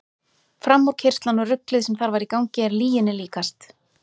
Framúrkeyrslan og ruglið sem þar var í gangi er lyginni líkast.